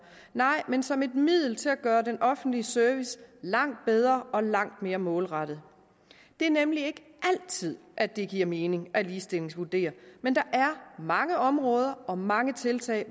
men som et middel til at gøre den offentlige service langt bedre og langt mere målrettet det er nemlig ikke altid at det giver mening at ligestillingsvurdere men der er mange områder og mange tiltag